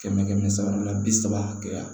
Kɛmɛ kɛmɛ sara la bi saba hakɛya